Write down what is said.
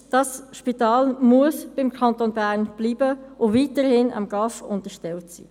Das Spital muss beim Kanton Bern bleiben und weiterhin dem GAV unterstellt sein.